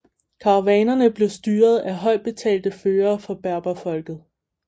Karavanerne blev styret af højt betalte førere fra berberfolket